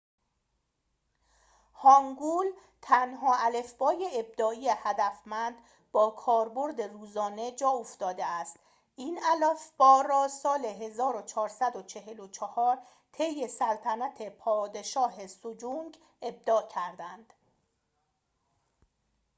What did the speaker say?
هانگول تنها الفبای ابداعی هدفمند با کاربرد روزانه جاافتاده است. این الفبا را سال 1444 طی سلطنت پادشاه سجونگ 1418 - 1450 ابداع کردند